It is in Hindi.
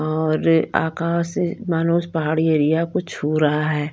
और आकाश मानो उस पहाड़ी एरिया कुछ हो रहा है।